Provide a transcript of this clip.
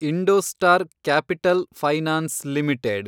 IndoStar Capital Finance limited